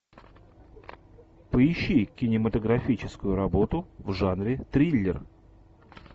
поищи кинематографическую работу в жанре триллер